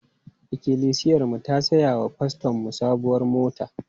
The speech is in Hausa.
Ikilisiyarmu ta saya wa fastonmu sabuwar mota.